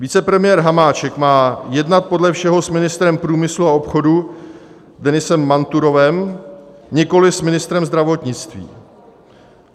Vicepremiér Hamáček má jednat podle všeho s ministrem průmyslu a obchodu Denisem Manturovem, nikoliv s ministrem zdravotnictví.